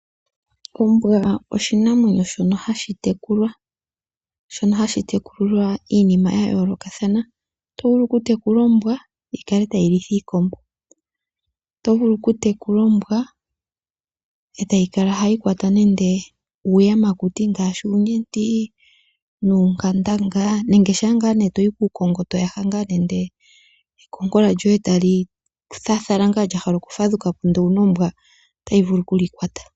Ombwa oshinamwenyo shono hashi tekulwa. Shono hashi tekulilwa iinima yayoolokathana. Oto vulu okutekula ombwa yikale tayi litha iikombo. Oto vulu okutekula ombwa etayi kala hayi kwata nande uuyamakuti ngaashi uunyenti, nuunkandanga, nenge shampa ngaa toyi kuukongo toyaha nande ekonkola lyoye, tali thathala lya hala okumatukapo ndele owuna ombwa, otayi vulu okuli kwata.